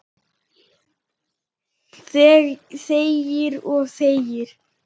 Þegir og þegir.